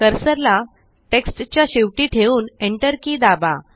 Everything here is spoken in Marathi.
कर्सर ला टेक्स्ट च्या शेवटी ठेवून Enter के दाबा